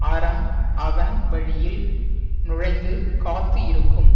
அறம் அவன் வழியில் நுழைந்து காத்து இருக்கும்